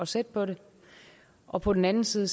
sætte på det og på den anden side